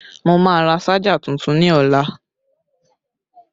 Mo máa rà ṣájà tuntun ní ọlá